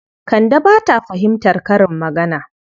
Kande ba ta fahimtar karin magana.